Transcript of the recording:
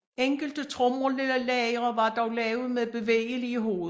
Enkelte tromlelagre var dog lavet med bevægelige hoveder